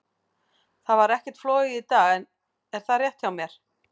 Það var ekkert flogið í dag, er það rétt hjá mér?